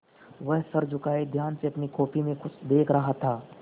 वह सर झुकाये ध्यान से अपनी कॉपी में कुछ देख रहा था